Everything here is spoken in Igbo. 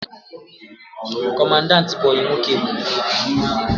Kọmandanti bụ ọyị nwoke Ebube